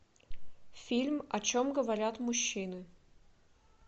фильм о чем говорят мужчины